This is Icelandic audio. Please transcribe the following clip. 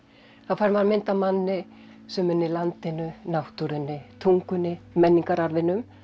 þá fær maður mynd af manni sem unni landinu náttúrunni tungunni menningararfinum